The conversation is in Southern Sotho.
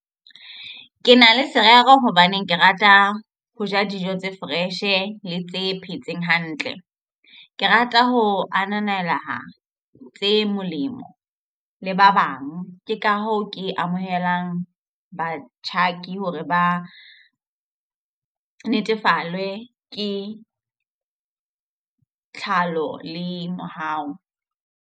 Ke na le serero hobaneng ke rata ho ja dijo tse fresh le tse phetseng hantle. Ke rata ho ananela tse molemo le ba bang. Ke ka hoo ke amohelang batjhaki hore ba natefelwe ke tlhalo le mohau.